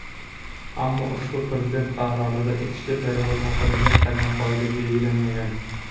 Ammo ushbu Prezident qarorida ichki "perevod" haqida hech qanday qoida belgilanmagan.